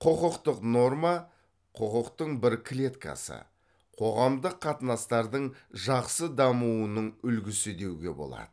құқықтық норма құқықтың бір клеткасы қоғамдық қатынастардың жақсы дамуының үлгісі деуге болады